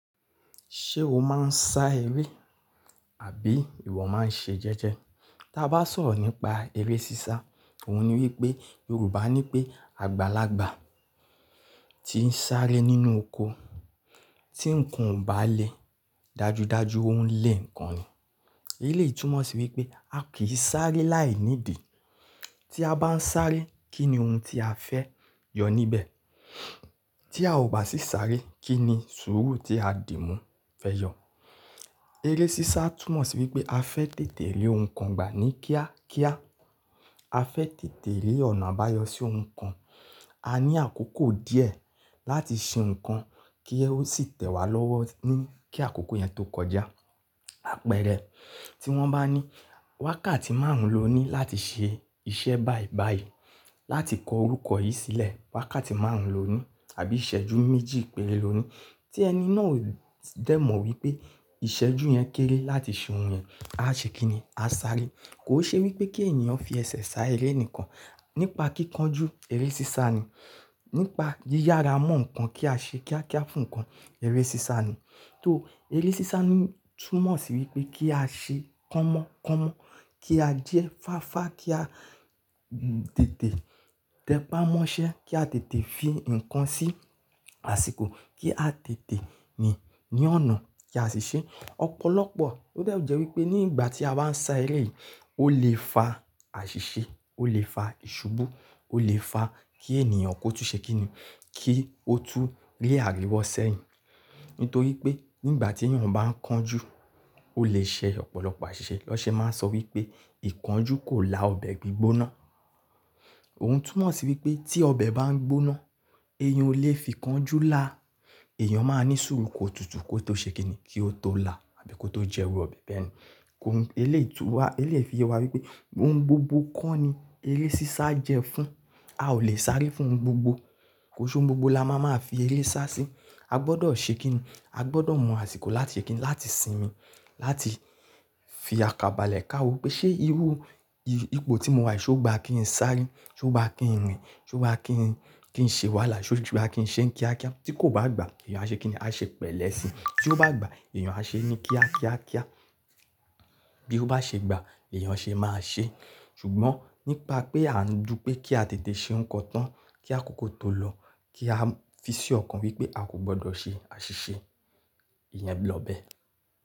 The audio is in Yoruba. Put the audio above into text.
Ṣé o máa ń sá eré àbí ìwọ máa ń ṣe jẹ́jẹ́? Tí a bá sọ̀rọ̀ nípa eré sísá, òun ni wípé Yorùbá ní pé àgbàlagbà tí ń sáré nínú oko, tí ǹkan ò bá le dajudaju ó ń le ǹkan ni. Èléyìí túmọ̀ sí wípé a kì í sáré láì nídìí. Tí a bá ń sáré, kí ni ohun tí a fẹ́ yọ níbẹ̀? Tí a ò bá sì sáré, kí ni sùúrù tí a dì mú fẹ́ yọ? Eré sísá túmọ̀ sí wípé a fẹ́ tètè rí ohun kan gbà ní kíá kíá. A fẹ́ tètè rí ọ̀nà àbáyọ sí ohun kan. A ní àkókò díẹ̀ láti ṣe ohun kan kí ẹ ó sì tẹ̀ wá lọ́wọ́ ní kí àkókò yẹn tó kọjá. Àpẹẹrẹ, tí wọ́n bá ní wákàtí márùn-ún lo ní láti ṣe iṣẹ́ báì báì, láti kọ orúkọ yìí sílẹ̀, wákàtí márùn-ún lo ní àbí ìṣẹ́jú méjì péré lo ní. Tí ẹni náà dẹ̀ mọ̀ wípé ìṣẹ́jú yẹn kéré láti ṣe ohun yẹn, a ṣe kíni? A sáré. Kò ṣe wípé kí ènìyàn fi ẹsẹ̀ sá eré nìkan. Nípa kíkanjú, eré sísá ni. Nípa yíyára mọ́ ǹkan kí a ṣe kíá kíá fún ǹkan, eré sísá ni. Tó eré sísá ní túmọ̀ sí wípé kí a ṣe kánmọ́ kánmọ́, kí a jẹ́ fáfá, kí a tètè tẹpá mọ́ṣẹ́, kí a tètè fi ǹkan sí àsìkò, kí a tètè ní, ní ọ̀nà kí a sì ṣe. Ọ̀pọ̀lọpọ̀, ó dè jẹ́ wípé nígbà tí a wá ń sá eré yìí, ó lè fa àṣìṣe, ó lè fa ìṣubú, ó lè fa kí ènìyàn kó tún ṣe kí ni, kí ó tún rí àríwọ sẹ́yìn. Nítorí pé nígbà tí ènìyàn bá ń kanjú, ó lè ṣe ọ̀pọ̀lọpọ̀ àṣìṣe. Ní wọ́n ṣe máa ń sọ wípé ìkánjú kò la ọbẹ̀ gbígbóná. Òun túmọ̀ sí wípé tí ọbẹ̀ bá ń gbóná, eyín o lè fi ìkánjú lá. Èèyàn máa ní sùúrù kó tutù kó tó ṣe kí ni, kí ó tó la àbí kó tó jẹ irú ọbẹ̀ bẹ́ẹ̀ ni. Òun, èléyìí lè tún wá, èléyìí fi yé wa wípé ohun gbogbo kọ́ ni eré sísá jẹ́ fún. A ò lè sáré fún ohun gbogbo. Kò ń ṣe ohun gbogbo la má máa fi eré sá sí. A gbọdọ̀ ṣe kí ni, a gbọdọ̀ mọ àsìkò láti ṣe kí ni, láti sinmi, láti fi àkàbàlẹ́ ka wò pé ṣé irú, ìpò tí mo wà yìí ṣé ó gba kí n sáré? Ṣé ó gba kí n rìn? Ṣé ó gba kí n, kí n ṣe wàhálà? Ṣé ó gba kí n ṣe ní kíákíá. Tí kò bá gba, èèyàn á ṣe kíni, èèyàn á ṣe pẹ̀lẹ́ sí. Tí ó bá gba, èèyàn á ṣe ní kíá kíá kíá. Bí ó bá ṣe gba ni èèyàn ṣe máa ṣe. Ṣùgbọ́n nípa pé a ń dù pé kí a tètè ṣe ohun kan tán, kí àkókò tó lọ, kí a fi sí ọ̀kan wípé a kò gbọdọ̀ ṣe àṣìṣe, ìyẹn lọ bẹ́ẹ̀.